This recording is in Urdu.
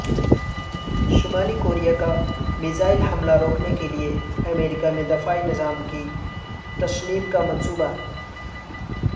شمالی کوریا کا میزائل حملہ روکنے کیلیے امریکا میں دفاعی نظام کی تنصیب کا منصوبہ